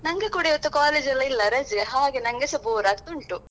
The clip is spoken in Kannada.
ನಂಗೆ ಕೂಡ ಇವತ್ತು college ಎಲ್ಲಾ ಇಲ್ಲಾ ರಜೆ ಹಾಗೆ ನಂಗೆಸ bore ಆಗ್ತಾ ಉಂಟು.